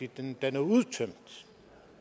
den er udtømt